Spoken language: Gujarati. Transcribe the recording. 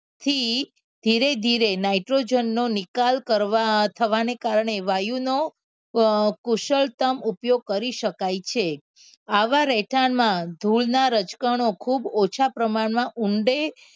થી ધીરે ધીરે nitrogen નો નિકાલ કરવા થવાને કારણે વાયુનું અ કુશળતમ ઉપયોગ કરી શકાય છે આવા રહેઠાણમાં ધૂળના રજકણો ખૂબ ઓછા પ્રમાણમાં ઊંડે